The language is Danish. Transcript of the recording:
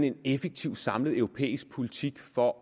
en effektiv samlet europæisk politik for